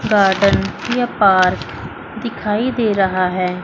Garden या park दिखाई दे रहा है।